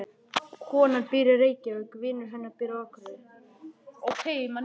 Konan býr í Reykjavík. Vinur hennar býr á Akureyri.